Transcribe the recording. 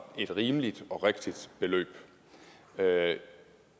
et rimeligt og rigtigt beløb